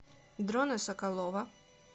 дрона соколова